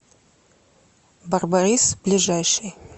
барбарис ближайший